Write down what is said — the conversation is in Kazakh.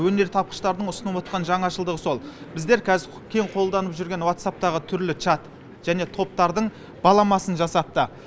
өнертапқыштардың ұсынып отқан жаңашылдығы сол біздер қаз кең қолданып жүрген ватсапптың түрлі чат және топтардың баламасын жасапты